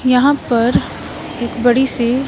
यहाँ पर एक बड़ी सी--